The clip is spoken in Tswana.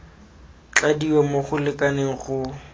tladiwa mo go lekaneng go